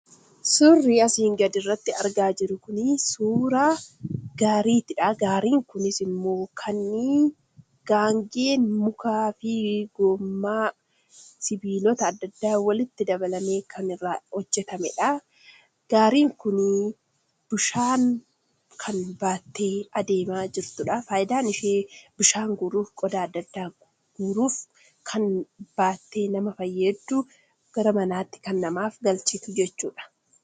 Suurri asi gaditti argaa jirru kun, suuraa gaariidha. gaariin kunis immoo kanneen, Gaangeen mukaa fi gommaa sibiloota addaa, addaa walitti dabalani kan irraa hojjetamedha. gaariin kun bishaan baattee deemaa jirtudha. faayidaan ishee bishaan guruudhaf, qodaa adda addaa guruudhaaf kan fayyaddudha.